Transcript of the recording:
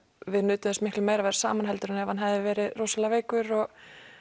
við nutum þess miklu meira að vera saman heldur en ef hann hefði verið rosalega veikur og